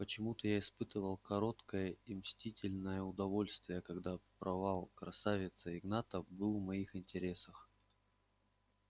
почему-то я испытывал короткое и мстительное удовольствие когда провал красавца игната был в моих интересах